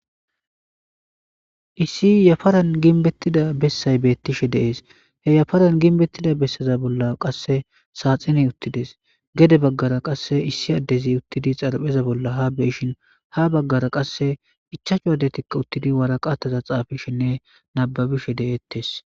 issi yafaran ginbettida bessay beettishe deees he yafaran ginbettida besseza bolla qasse saaxine uttides gede baggara qasse issi addezi uttidi xarpheza bolla ha beishin ha baggara qasse ichaachu addetikka uttidi waraqattaza xaafishinne nababishe de7ettes